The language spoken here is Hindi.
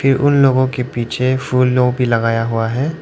ये उन लोगों के पीछे फूल लोग भी लगाया हुआ है।